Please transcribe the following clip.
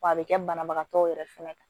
W'a be kɛ banabagatɔw yɛrɛ fɛnɛ kan